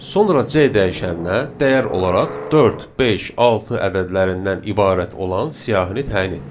Sonra C dəyişəninə dəyər olaraq 4, 5, 6 ədədlərindən ibarət olan siyahini təyin etdik.